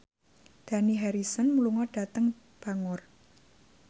Dani Harrison lunga dhateng Bangor